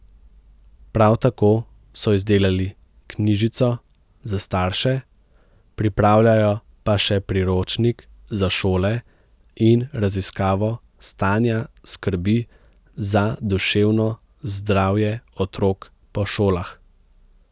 Prav tako so izdelali knjižico za starše, pripravljajo pa še priročnik za šole in raziskavo stanja skrbi za duševno zdravje otrok po šolah.